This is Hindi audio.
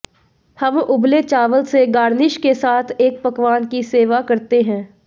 हम उबले चावल से गार्निश के साथ एक पकवान की सेवा करते हैं